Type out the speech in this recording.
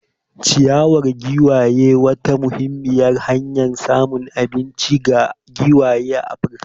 Ciyawar giwaye wata muhimmiyar hanyar samun abinci ce ga giwaye a Afirka.